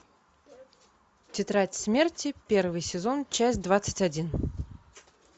тетрадь смерти первый сезон часть двадцать один